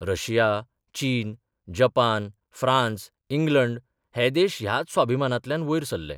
Russia, चीन, Japan, France, England हे देश ह्याच स्वाभिमानांतल्यान वयर सरले.